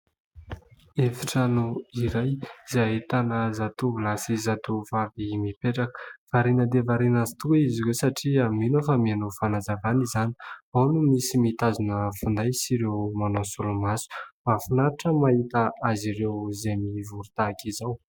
Efitrano iray izay ahitana zatovolahy sy zatovovavy mipetraka. Variana dia variana tokoa izy ireo satria mino aho fa mihaino fanazavana izany. Ao no misy mitazona finday sy ireo manao solomaso. Mahafinaritra ny mahita azy ireo izay mivory tahaka izao.